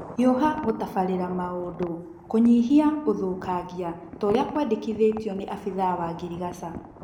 Hiũha gũtabarĩla maũndũ kũnyihia ũthũkangia toria kwendekithĩtio nĩ abithaa wa ngirigacha